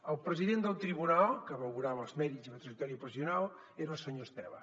el president del tribunal que valorava els mèrits i la trajectòria professional era el senyor estela